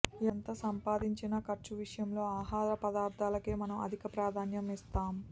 ఎంత సంపాదించినా ఖర్చు విషయంలో ఆహార పదార్థాలకే మనం అధిక ప్రాధాన్యం ఇస్తాం